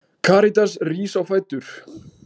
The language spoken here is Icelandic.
Karitas rís á fætur.